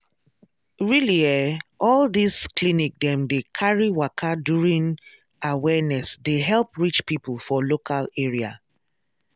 really eh all this clinic dem dey carry waka during awareness dey help reach people for local area.